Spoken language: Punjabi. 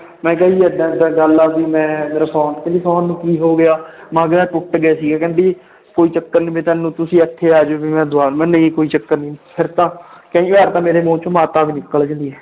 ਮੈਂ ਕਿਹਾ ਜੀ ਏਦਾਂ ਏਦਾਂ ਗੱਲ ਆ ਵੀ ਮੈਂ ਮੇਰਾ phone ਕਹਿੰਦੀ phone ਨੂੰ ਕੀ ਹੋ ਗਿਆ ਮੈਂ ਕਿਹਾ ਟੁੱਟ ਗਿਆ ਸੀਗਾ ਕਹਿੰਦੀ ਕੋਈ ਚੱਕਰ ਨੀ ਵੀ ਤੁਹਾਨੂੰ ਤੁਸੀਂ ਇੱਥੇ ਆ ਜਾਓ ਵੀ ਮੈਂ ਨਹੀਂ ਕੋਈ ਚੱਕਰ ਨੀ, ਫਿਰ ਤਾਂ ਕਈ ਵਾਰ ਤਾਂ ਮੇਰੇ ਮੂੰਹ ਚੋਂ ਮਾਤਾ ਵੀ ਨਿਕਲ